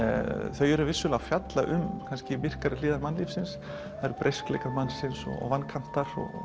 þau eru vissulega að fjalla um myrkari hliðar mannlífsins mannsins vankantar og